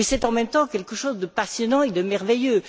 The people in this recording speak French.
C'est en même temps quelque chose de passionnant et de merveilleux.